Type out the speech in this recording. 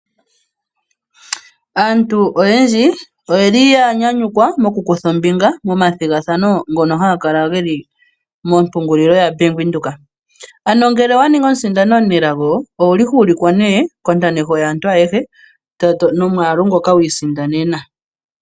Aantu oyendji oyeli ya nyanyukwa mokukutha ombinga momathigathano ngono haga kala geli mompungulilo yabank Windhoek ano ngele owa ningi omusindani omunelago ohuulikwa nee nomwaalu ngoka wiisindanena.